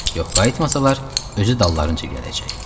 Yox qayıtmasalar, özü dallarınıca gələcek.